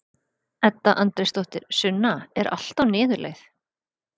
Edda Andrésdóttir: Sunna, er allt á niðurleið?